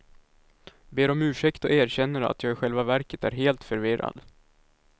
Ber om ursäkt och erkänner att jag i själva verket är helt förvirrad.